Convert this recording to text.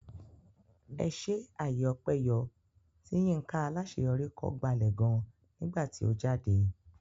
Ẹṣé àyè ọpẹ yọ tí Yinka Alaṣeyori kọ gbalẹ̀ gan nígbà tí ó jáde.